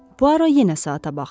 Puaro yenə saata baxdı.